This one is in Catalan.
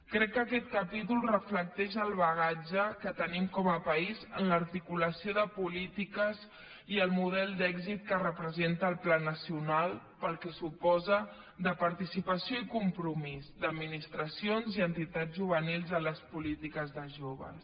crec que aquest capítol reflecteix el bagatge que tenim com a país en l’articulació de polítiques i el model d’èxit que representa el pla nacional pel que suposa de participació i compromís d’administracions i entitats juvenils en les polítiques de joves